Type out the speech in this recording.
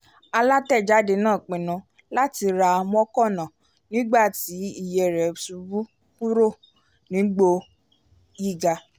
alátẹ̀jáde náà pinnu láti ra mọ́ọ̀kànà nígbà tí iye rẹ̀ ṣubú kúrò níbo gíga